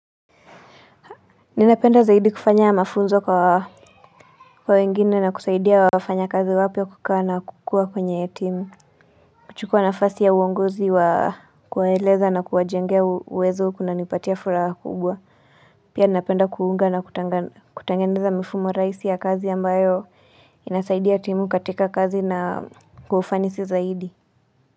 Ninapenda zaidi kufanya mafunzo kwa wengine na kusaidia wafanya kazi wapya kukaa na kukua kwenye ya timu kuchukua nafasi ya uongozi wa kuwaeleza na kuwa jengea uwezo kuna nipatia fula kubwa Pia napenda kuunga na kutangeneza mfumo raisi ya kazi ambayo inasaidia ya timu katika kazi na kwa ufanisi zaidi.